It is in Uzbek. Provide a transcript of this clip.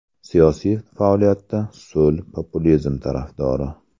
Siyosiy faoliyatida so‘l populizm tarafdori.